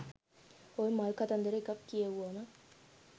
ඔය මල් කතන්දර එකක් කියෙව්වම